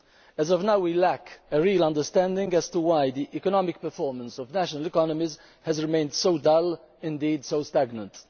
As of now we lack a real understanding as to why the economic performance of national economies has remained so dull, indeed so stagnant.